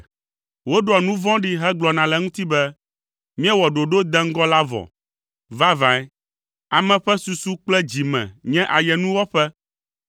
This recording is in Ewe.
Woɖoa nu vɔ̃ɖi hegblɔna le eŋuti be, “Míewɔ ɖoɖo deŋgɔ la vɔ!” Vavãe, ame ƒe susu kple dzi me nye ayenuwɔƒe,